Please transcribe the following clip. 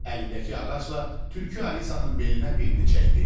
Əlindəki ağacla Tülkü Alisanın belinə birini çəkdi.